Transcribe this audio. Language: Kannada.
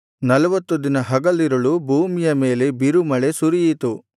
ನಲ್ವತ್ತು ದಿನ ಹಗಲಿರುಳು ಭೂಮಿಯ ಮೇಲೆ ಬಿರುಮಳೆ ಸುರಿಯಿತು